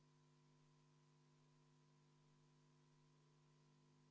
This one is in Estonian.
Austatud Riigikogu, panen teie ette hääletusele muudatusettepaneku nr 3, mida juhtivkomisjon on arvestanud täielikult.